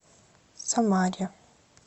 самаре